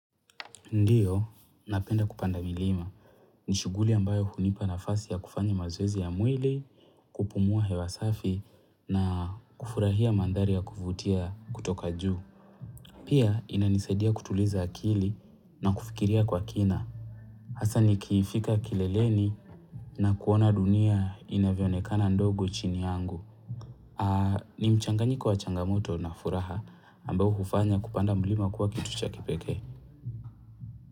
Ndiyo, napenda kupanda milima. Ni shughuli ambayo hunipa nafasi ya kufanya mazoezi ya mwili, kupumua hewa safi na kufurahia mandhari ya kuvutia kutoka juu. Pia, inanisaidia kutuliza akili na kufikiria kwa kina. Hasa nikifika kileleni na kuona dunia inavyoonekana ndogo chini yangu. Ni mchanganyiko kwa changamoto na furaha ambayo kufanya kupanda milima kuwa kitu cha kipeke.